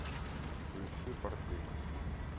включи портвейн